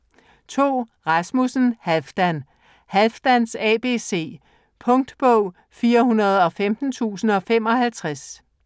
Rasmussen, Halfdan: Halfdans abc Punktbog 415055